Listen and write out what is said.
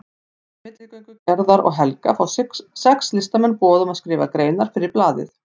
Fyrir milligöngu Gerðar og Helga fá sex listamenn boð um að skrifa greinar fyrir blaðið.